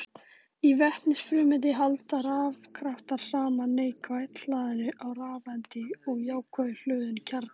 Í vetnisfrumeind halda rafkraftar saman neikvætt hlaðinni rafeind og jákvætt hlöðnum kjarna.